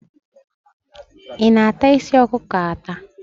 Ị na-ata isi ọkụkọ ata?